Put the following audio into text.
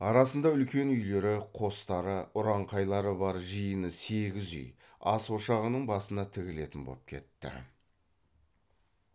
арасында үлкен үйлері қостары ұранқайлары бар жиыны сегіз үй ас ошағының басына тігілетін боп кетті